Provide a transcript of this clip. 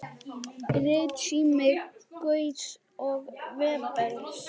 Ritsími Gauss og Webers.